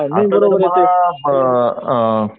आता तर मला ब अ